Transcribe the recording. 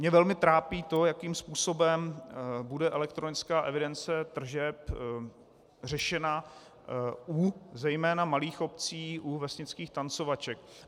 Mě velmi trápí to, jakým způsobem bude elektronická evidence tržeb řešena u zejména malých obcí, u vesnických tancovaček.